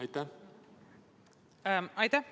Aitäh!